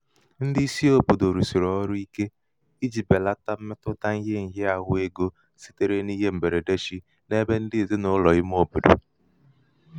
ndị isi òbòdò rụ̀sị̀rị ọrụ ike ijī bèlata mmetụta bèlata mmetụta ihe ṅ̀hịaāhụ̄ egō sitere n’ihe m̀bèrède chi n’ebe ndị ezinàụlọ̀ ime obodo.